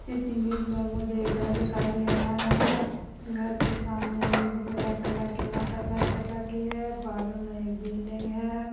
इस इमेज में मुझे एक घर दिखाई दे रहा है घर के सामने एक ब्लैक कलर की मोटरसाइकिल रखी है बाजू में एक बिल्डिंग हैं ।